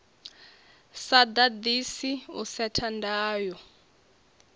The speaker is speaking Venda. sa ḓaḓisi u setha ndayo